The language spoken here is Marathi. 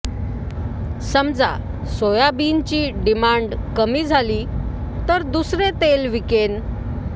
समजा सोयाबीनची डिमांड कमी झाली तर दुसरे तेल विकेन